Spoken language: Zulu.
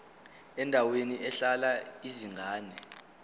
endaweni ehlala izingane